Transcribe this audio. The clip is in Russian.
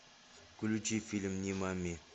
включи фильм нимани